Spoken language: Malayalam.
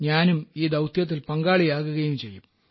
ഞാനും ഈ ദൌത്യത്തിൽ പങ്കാളിയാകുകയും ചെയ്യും